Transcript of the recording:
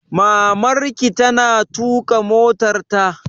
Maman ki ta na tuƙa motarta?